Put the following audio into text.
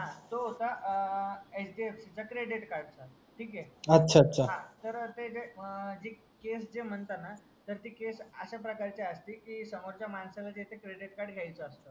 हा जो होता आ HDFC चा क्रेडिट कार्ड चा अच्छा अच्छा हा तर ते जे आपले म्हणता ना तर ती केस अशा प्रकारे असते कि समोरचा माणसाला कि जे क्रेडिट कार्ड घ्यायचा असता